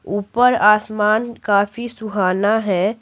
ऊपर आसमान काफी सुहाना है।